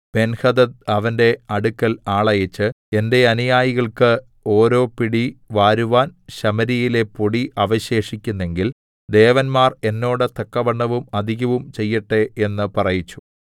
Benhadad അവന്റെ അടുക്കൽ ആളയച്ച് എന്റെ അനുയായികൾക്ക് ഓരോ പിടിവാരുവാൻ ശമര്യയിലെ പൊടി അവശേഷിക്കുന്നെങ്കിൽ ദേവന്മാർ എന്നോട് തക്കവണ്ണവും അധികവും ചെയ്യട്ടെ എന്ന് പറയിച്ചു